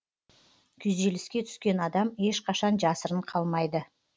күйзеліске түскен адам ешқашан жасырын қалмайды